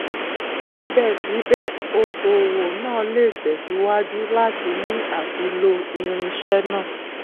síbẹsíbẹ okòwò náà lè tẹsíwájú láti ní àti lo irinṣẹ náà